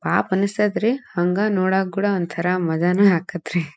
ಪಾಪ ಅನಿಸ್ತತ್ತೆ ರೀ ಹಂಗ ನೋಡಕು ಕೂಡ ಒಂಥರ ಮಜಾನು ಆಗತ್ತೆ ರೀ.